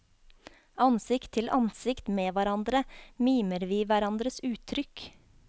Ansikt til ansikt med hverandre mimer vi hverandres uttrykk.